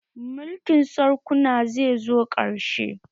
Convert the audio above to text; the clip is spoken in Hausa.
Mulkin sarkuna zai zo ƙarshe